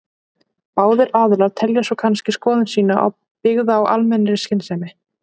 Báðir aðilar telja svo kannski skoðun sína byggða á almennri skynsemi.